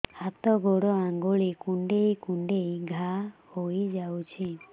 ହାତ ଗୋଡ଼ ଆଂଗୁଳି କୁଂଡେଇ କୁଂଡେଇ ଘାଆ ହୋଇଯାଉଛି